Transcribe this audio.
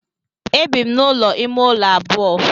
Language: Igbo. E bi m n'ụlọ ime ụlọ abụọ.